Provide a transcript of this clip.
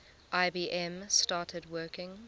ibm started working